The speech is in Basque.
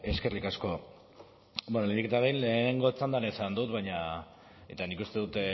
eskerrik asko lehenik eta behin lehenengo txandan esan dut eta nik uste dut